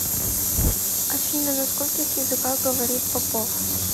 афина на скольких языках говорит попов